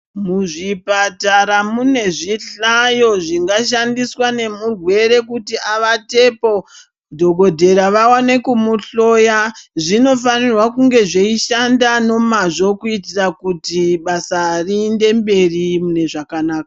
Muzvipatara munezvihlayo zvingashandiswa nemurwere kuti avatepo, dhogodheya aone kumuhloya. Zvinofanira kunge zveishanda nemazvo kuitira kuti basa riende mbei mune zvakanaka.